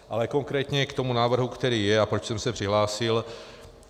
Ale konkrétně k tomu návrhu, který je a proč jsem se přihlásil.